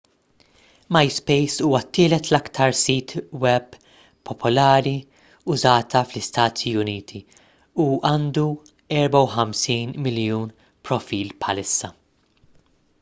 myspace huwa t-tielet l-iktar sit web popolari użata fl-istati uniti u għandu 54 miljun profil bħalissa